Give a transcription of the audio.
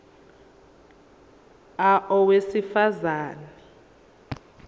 a owesifaz ane